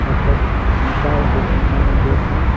और सब शीशा है जो शीशा में देख रहे हैं।